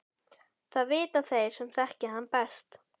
Það vita þeir sem þekkja hann best.